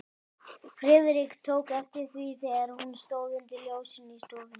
Friðrik tók eftir því, þegar hún stóð undir ljósinu í stofunni.